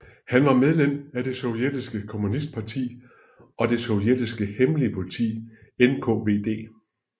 Her var han medlem af det sovjetiske kommunistparti og det sovjetiske hemmelige politi NKVD